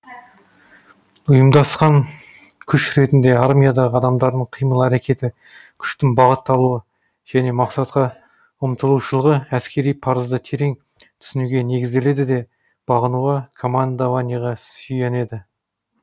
ұйымдасқан күш ретінде армиядағы адамдардың қимыл әрекеті күштің бағытталуы және мақсатқа ұмтылушылығы әскери парызды терең түсінуге негізделеді де бағынуға командованияға сүйенеді